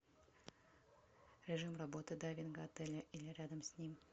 режим работы дайвинга отеля или рядом с ним